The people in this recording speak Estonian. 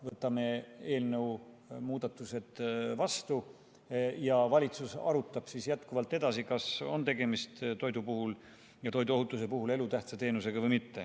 Võtame eelnõu muudatused vastu ja valitsus arutab edasi, kas on tegemist toidu ja toiduohutuse puhul elutähtsa teenusega või mitte.